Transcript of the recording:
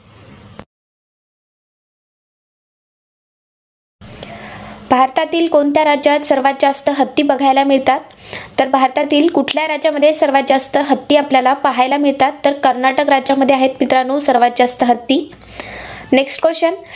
भारतातील कोणत्या राज्यात सर्वांत जास्त हत्ती बघायला मिळतात? तर भारतातील कुठल्या राज्यामध्ये सर्वांत जास्त हत्ती आपल्याला पाहायला मिळतात? तर कर्नाटक राज्यामध्ये आहेत, मित्रांनो सर्वांत जास्त हत्ती. Next question